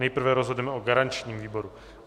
Nejprve rozhodneme o garančním výboru.